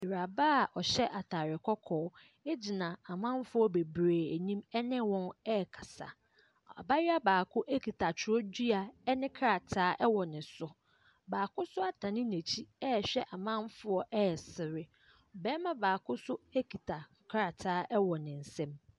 Awuraba a ɔhyɛ atare kɔkɔɔ gyina amanfoɔ bebree ani ne wɔn rekasa. Abayewa baako kita twerɛdua ne krataa wɔ ne so. Baako nso adane n'akyi rehwɛ amanfoɔ resere. Barima baako nso kita krataa wɔ ne nsam.